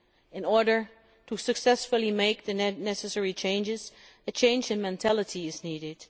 In order to successfully make the necessary changes, a change in mentality is needed.